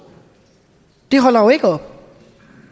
det holder jo ikke op